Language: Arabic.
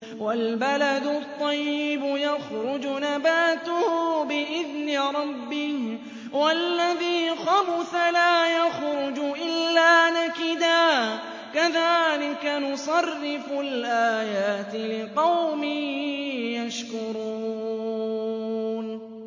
وَالْبَلَدُ الطَّيِّبُ يَخْرُجُ نَبَاتُهُ بِإِذْنِ رَبِّهِ ۖ وَالَّذِي خَبُثَ لَا يَخْرُجُ إِلَّا نَكِدًا ۚ كَذَٰلِكَ نُصَرِّفُ الْآيَاتِ لِقَوْمٍ يَشْكُرُونَ